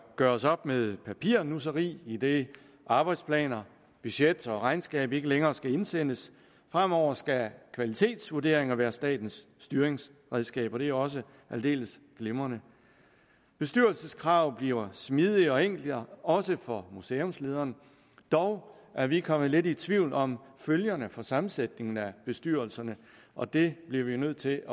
gøres op med papirnusseri idet arbejdsplaner budget og regnskab ikke længere skal indsendes fremover skal kvalitetsvurderinger være statens styringsredskaber og det er også aldeles glimrende bestyrelseskrav bliver smidigere og enklere også for museumslederen dog er vi kommet lidt i tvivl om følgerne for sammensætningen af bestyrelserne og det bliver vi nødt til